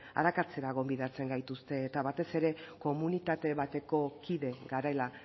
arakatzera gonbidatzen gaituzte eta batez ere komunitate bateko kide garela